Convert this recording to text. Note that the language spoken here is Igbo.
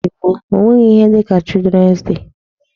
N'oge gboo e nweghị ihe dịka Children's day.